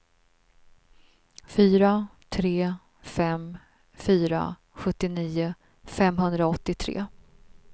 fyra tre fem fyra sjuttionio femhundraåttiotre